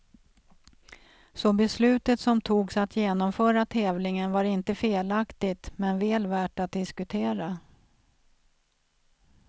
Så beslutet som togs att genomföra tävlingen var inte felaktigt, men väl värt att diskutera.